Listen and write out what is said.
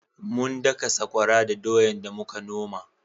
Mun daka sakwara da doyan da muka noma